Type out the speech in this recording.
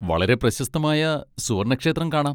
വളരെ പ്രശസ്തമായ സുവർണ്ണ ക്ഷേത്രം കാണാം.